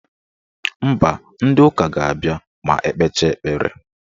Mba, ndị ụka ga-abịa ma ekpecha ekpere.